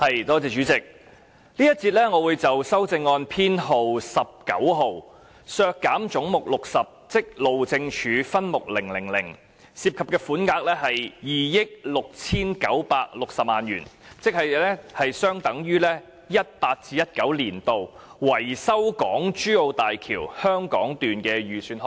主席，這節我會就修正案編號 19， 議決削減分目000而將"總目 60― 路政署"削減2億 6,960 萬元，款額大約相當於 2018-2019 年度路政署用於維修港珠澳大橋香港段的預算開支。